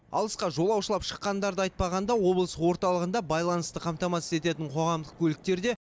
алысқа жолаушылап шыққандарды айтпағанда облыс орталығында байланысты қамтамасыз ететін қоғамдық көліктер де